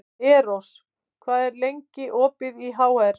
Eros, hvað er lengi opið í HR?